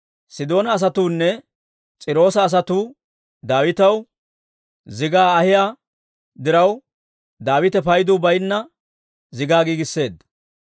Sidoona asatuunne S'iiroosa asatuu Daawitaw zigaa ahiyaa diraw, Daawite paydu baynna zigaa giigisseedda.